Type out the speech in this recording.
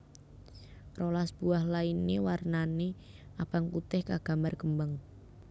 rolas buah lainé warnané abang putih kagambar kembang